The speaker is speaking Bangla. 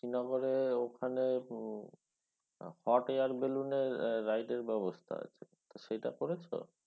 শ্রীনগরে ওখানে hot air balloon ride এর ব্যবস্থা আছে। সেইটা করেছো?